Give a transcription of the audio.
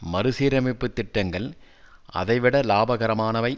மறுசீரமைப்பு திட்டங்கள் அதை விட இலாபகரமானவை